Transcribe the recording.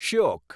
Shyok